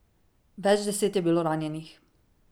Več deset je bilo ranjenih.